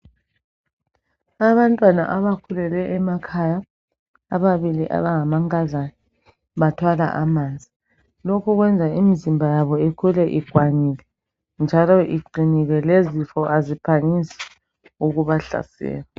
Abantwana abakhulele emakhaya ababili abangamankazana bathwala amanzi lokhu kwenza imizimba yabo ikhule ikwanile njalo iqinile lezifo aziphangisi ukubahlasela.